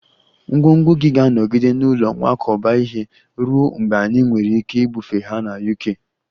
Ngwongwo gị ga-anọgide n'ụlọ nkwakọba ihe ruo mgbe anyị nwere ike ibufe ha na UK